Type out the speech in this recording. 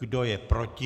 Kdo je proti?